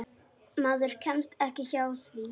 Maður kemst ekki hjá því.